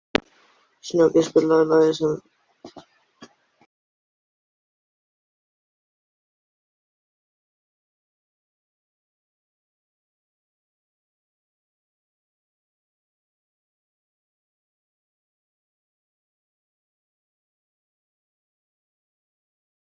Við áttum heima í sömu götunni í eina tíð.